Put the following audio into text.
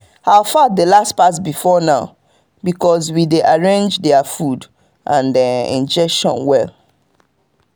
our fowl dey last pass before now because we arrange their food and injection well.